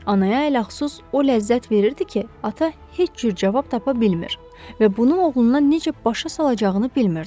Anaya ələxüsus o ləzzət verirdi ki, ata heç cür cavab tapa bilmir və bunu oğluna necə başa salacağını bilmirdi.